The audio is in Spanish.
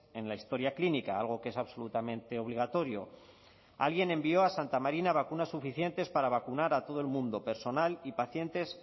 en la historia clínica algo que es absolutamente obligatorio alguien envío a santa marina vacunas suficientes para vacunar a todo el mundo personal y pacientes